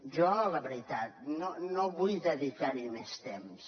jo la veritat no vull dedicar hi més temps